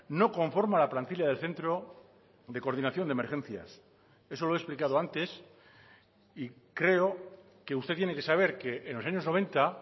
no conforma la plantilla del centro de coordinación de emergencias eso lo he explicado antes y creo que usted tiene que saber que en los años noventa